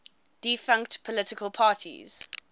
defunct political parties